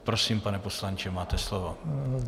Prosím, pane poslanče, máte slovo.